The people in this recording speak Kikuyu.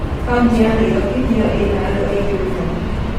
Kauntĩ ya Nairobi nĩyo ĩna andũ aingĩ mũnoo.